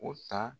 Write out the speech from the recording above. O ta